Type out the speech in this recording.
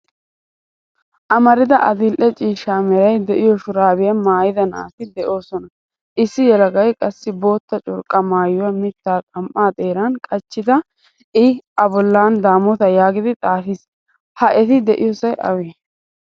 Amarida adil'e ciishshaa meray de'iyo shurabiyaa maayida naati deosona. Issi yelagay qassi boottaa curqqa maayuwaa mitta xam'aa xeeran qachchidi a bollan damotta yaagidi xaafiis. Ha eti de'iyosay awe?